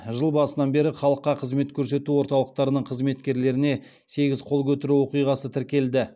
жыл басынан бері халыққа қызмет көрсету орталықтарының қызметкерлеріне сегіз қол көтеру оқиғасы тіркелді